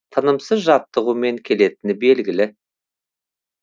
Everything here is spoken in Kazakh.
айтуға оңай болғанмен әрбір жеңіс төккен термен тынымсыз жаттығумен келетіні белгілі